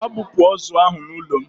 Gaa bupu ozu ahụ n'ụlọ m!